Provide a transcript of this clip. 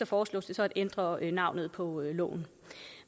foreslås det så at ændre navnet på loven